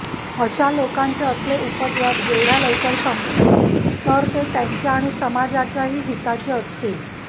अशा लोकांचे असले उपद्व्याप जेवढय़ा लवकर संपतील तर ते त्यांच्या आणि समाजाच्याही हिताचे असतील